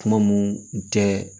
Kuma mun tɛ